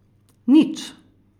Nič?